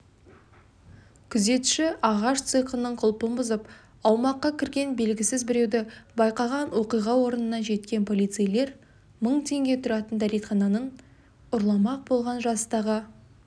күзетші ағаш цехының құлпын бұзып аумаққа кірген белгісіз біреуді байқаған оқиға орнына жеткен полицейлер мың теңге тұратын дәретханын ұрламақ болған жастағы